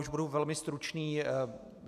Už budu velmi stručný.